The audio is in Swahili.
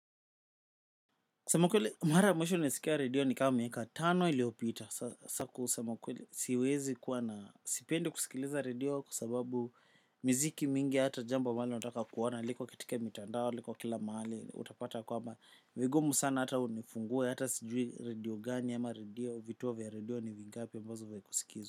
Sema kweli mara mwisho nilisikia redio ni kama miaka tano iliopita. Sa kusema ukweli siwezi kuwa na sipendi kusikiliza redio kwa sababu miziki mingi hata jambo ambalo utaka kuona. Liko kaitika mitandao liko kila mahali utapata kwamba vigumu sana hata unifungue hata sijui redio gani ama redio vituo vya redio ni vingapi ambazo vya kusikizwa.